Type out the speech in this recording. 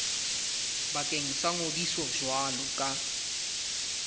bakeng sa ngodiso jwalo ka